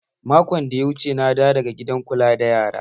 Makon da ya wuce na dawo daga gidan kula da yara